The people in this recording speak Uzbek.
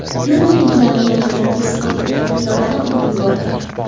yo‘lni belgilanmagan joydan kesib o‘tayotgan piyodani urib yuborgan.